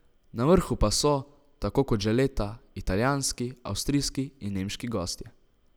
Na vrhu pa so, tako kot že leta, italijanski, avstrijski in nemški gostje.